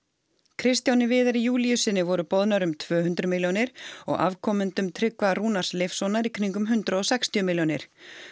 Kristjáni Viðari Júlíussyni voru boðnar um tvö hundruð milljónir og afkomendum Tryggva Rúnars Leifssonar í kringum hundrað og sextíu milljónir